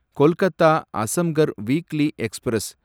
Kolkata Azamgarh weekly express